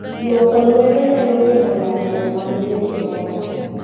Luoko luedo nyalo geng'o landruok mag tuoche moko